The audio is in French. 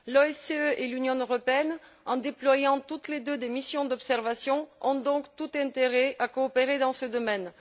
L'OSCE et l'Union européenne, en déployant toutes les deux des missions d'observation, ont donc tout intérêt à coopérer dans ce domaine.